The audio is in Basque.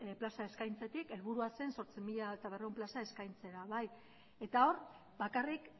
plaza eskaintzetik helburua zen zortzi mila berrehun plaza eskaintzea eta hor bakarrik